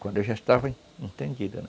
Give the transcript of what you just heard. Quando eu já estava entendido, né?